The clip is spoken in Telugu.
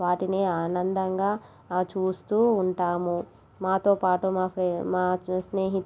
వాటిని ఆనందంగా ఆ చూస్తూ ఉంటాము. మా తో పాటు మాకు మా స్నేహి--